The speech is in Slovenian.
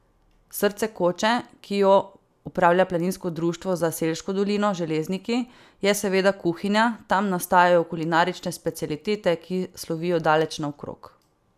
Srce koče, ki jo upravlja Planinsko društvo za Selško dolino Železniki, je seveda kuhinja, tam nastajajo kulinarične specialitete, ki slovijo daleč naokrog.